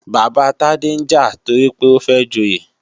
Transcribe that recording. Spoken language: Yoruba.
Bàbá Tade ń jà toripé ó fẹ́ joyè